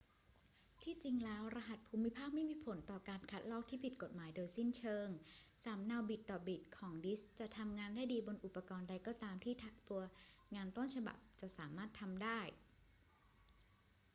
ที่จริงแล้วรหัสภูมิภาคไม่มีผลต่อการคัดลอกที่ผิดกฎหมายโดยสิ้นเชิง สำเนาบิตต่อบิตของดิสก์จะทำงานได้ดีบนอุปกรณ์ใดก็ตามที่ตัวงานต้นฉบับจะสามารถทำได้